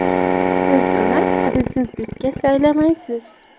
Siz uni prezidentlikka saylamaysiz.